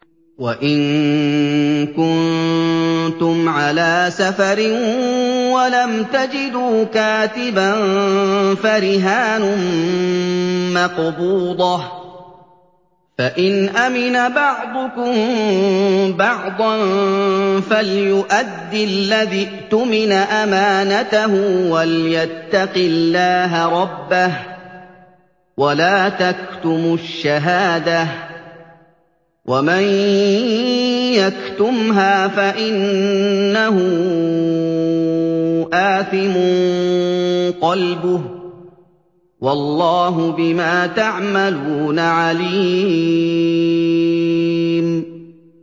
۞ وَإِن كُنتُمْ عَلَىٰ سَفَرٍ وَلَمْ تَجِدُوا كَاتِبًا فَرِهَانٌ مَّقْبُوضَةٌ ۖ فَإِنْ أَمِنَ بَعْضُكُم بَعْضًا فَلْيُؤَدِّ الَّذِي اؤْتُمِنَ أَمَانَتَهُ وَلْيَتَّقِ اللَّهَ رَبَّهُ ۗ وَلَا تَكْتُمُوا الشَّهَادَةَ ۚ وَمَن يَكْتُمْهَا فَإِنَّهُ آثِمٌ قَلْبُهُ ۗ وَاللَّهُ بِمَا تَعْمَلُونَ عَلِيمٌ